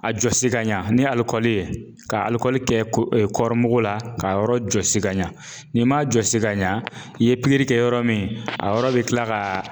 A jɔsi ka ɲa ni alikɔli ye ,ka alikɔli kɛ kɔri mugu la ka yɔrɔ jɔsi ka ɲa. Ni m'a jɔsi ka ɲa i ye pikiri kɛ yɔrɔ min a yɔrɔ bI kila ka